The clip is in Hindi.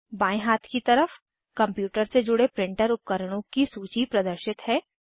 बाएं हाथ की तरफ कंप्यूटर से जुड़े प्रिंटर उपकरणों की सूची प्रदर्शित है